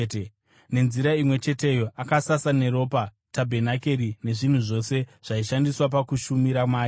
Nenzira imwe cheteyo, akasasa neropa tabhenakeri nezvinhu zvose zvaishandiswa pakushumira mairi.